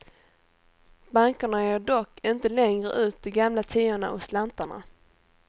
Bankerna ger dock inte längre ut de gamla tiorna och slantarna.